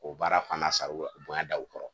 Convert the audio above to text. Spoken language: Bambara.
O baara fana sar'u la bonya da u kɔrɔ.